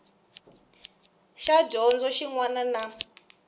xa dyondzo xin wana na